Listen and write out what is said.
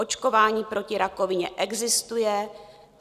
Očkování proti rakovině existuje.